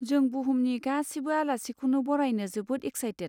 जों बुहुमनि गासिबो आलासिखौनो बरायनो जोबोद एक्साइटेद।